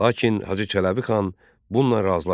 Lakin Hacı Çələbi xan bununla razılaşmadı.